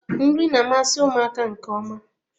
Nri na-amasị ụmụaka nke ọma.